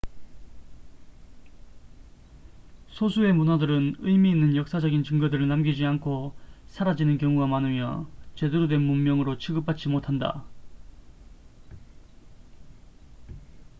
소수의 문화들은 의미 있는 역사적인 증거들을 남기지 않고 사라지는 경우가 많으며 제대로 된 문명으로 취급받지 못한다